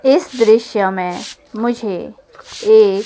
इस दृश्य में मुझे एक--